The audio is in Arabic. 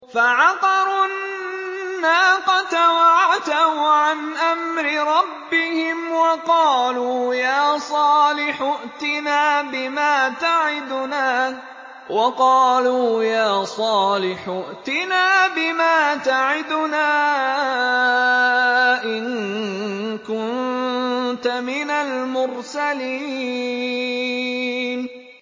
فَعَقَرُوا النَّاقَةَ وَعَتَوْا عَنْ أَمْرِ رَبِّهِمْ وَقَالُوا يَا صَالِحُ ائْتِنَا بِمَا تَعِدُنَا إِن كُنتَ مِنَ الْمُرْسَلِينَ